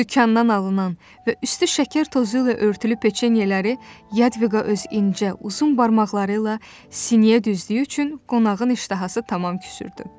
Dükandan alınan və üstü şəkər tozu ilə örtülü peçenyeləri Yadviqa öz incə, uzun barmaqları ilə siniyə düzdüyü üçün qonağın iştahası tamam küsürdü.